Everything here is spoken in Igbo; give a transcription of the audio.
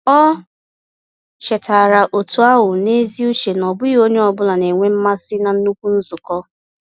Ọ chetaara otu ahụ n’ezi uche na ọ bụghị onye ọ bụla na-enwe mmasị na nnukwu nzukọ.